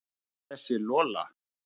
Og þessi Lola.